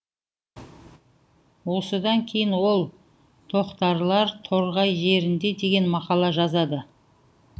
осыдан кейін ол тоқтарлар торғай жерінде деген мақала жазады